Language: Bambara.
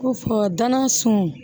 Ko fɔ dananasunw